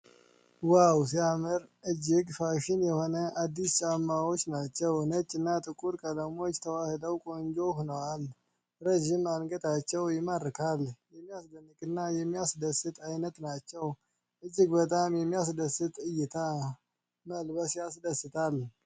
ዋው! ሲያምር! እጅግ ፋሽን የሆኑ አዲስ ጫማዎች ናቸው። ነጭ እና ጥቁር ቀለሞች ተዋህደው ቆንጆ ሆነዋል። ረዥም አንገታቸው ይማርካል። የሚያስደንቅ እና የሚያስደስት አይነት ናቸው። እጅግ በጣም የሚያስደስት እይታ። መለበስ ያስደስታል።